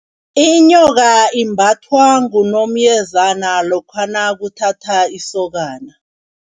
Inyoka imbathwa ngunomyezana lokha nakuthatha isokana.